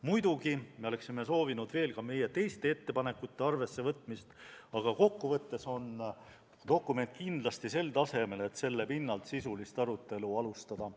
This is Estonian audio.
Muidugi oleksime soovinud ka teiste meie ettepanekute arvessevõtmist, aga kokkuvõttes on see dokument kindlasti sel tasemel, et selle pinnalt sisulist arutelu alustada.